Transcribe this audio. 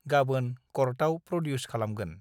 गाबोन कर्टआव प्रडिउस खालामगोन